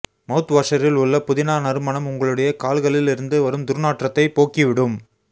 மவுத்வாஷரில் உள்ள புதினா நறுமணம் உங்களுடைய கால்களில் இருந்து வரும் துர்நாற்றத்தை போக்கி விடும்